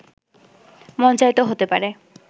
মঞ্চায়িত হতে পারে